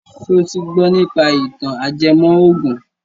Ṣo ti gbọ nípa ìtàn ajẹmọ ògùn?